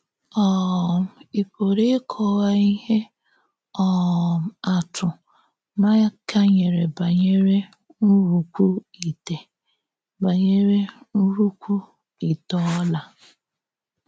um Ị̀ pùrụ̀ íkọ̀wá íhè um àtụ̀ Maịka nyerè bànyèrè ńnrúkwú ìté bànyèrè ńnrúkwú ìté ọ́là?